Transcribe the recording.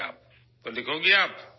تو آپ لکھیں گی ؟